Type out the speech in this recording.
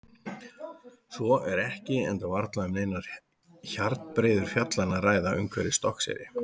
Svo er ekki enda varla um neinar hjarnbreiður fjallanna að ræða umhverfis Stokkseyri.